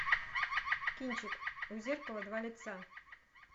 кинчик у зеркала два лица